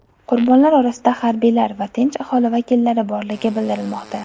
Qurbonlar orasida harbiylar va tinch aholi vakillari borligi bildirilmoqda.